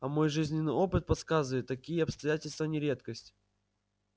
а мой жизненный опыт подсказывает такие обстоятельства не редкость